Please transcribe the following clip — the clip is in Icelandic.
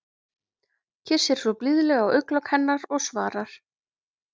Kyssir svo blíðlega á augnalok hennar og svarar